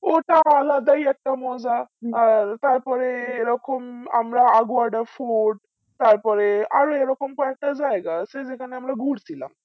ওটা আলাদাই একটা মজা তারপরে এরকম আমরা আগুয়াডা সময় তারপরে আরও এই রকম কয়েকটা জায়গা আছে যেখানে আমরা ঘুর ছিলাম